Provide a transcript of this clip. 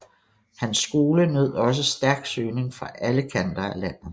Hans skole nød også stærk søgning fra alle kanter af landet